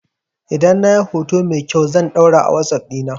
Idan na yi hoto mai kyau can ɗora a wasuf dina